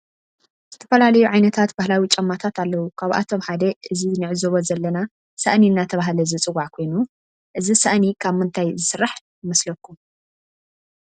ዝተፈላለዩ ዓይነታት ባህላዊ ጫማታት አለው ካብአቶም ሓደ እዚ ንዕዘቦ ዘለና ሳእኒ እናተባህለ ዝፀዋዕ ኮይኑ እዚ ሳእኒ ካብ ምንታይ ዝስራሕ ይመስለኩም?